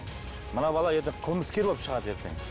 мына бала ертең қылмыскер болып шығады ертең